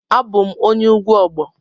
Abum onye ugwu Ogbo.